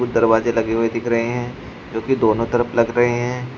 दरवाजे लगी हुई दिख रहे हैं जो की दोनों तरफ लग रहे हैं।